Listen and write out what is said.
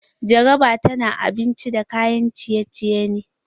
Jarabar ta na abinci da kayan ciye-ciye ne.